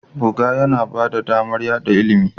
Buga yana ba da damar yada ilimi